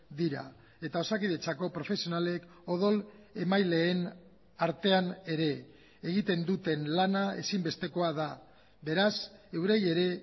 dira eta osakidetzako profesionalek odol emaileen artean ere egiten duten lana ezinbestekoa da beraz eurei ere